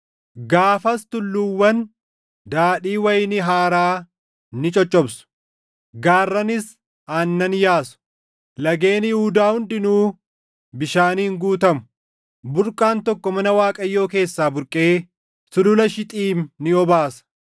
“Gaafas tulluuwwan daadhii wayinii haaraa ni coccobsu; gaarranis aannan yaasu; lageen Yihuudaa hundinuu bishaaniin guutamu. Burqaan tokko mana Waaqayyoo keessaa burqee sulula Shixiim ni obaasa.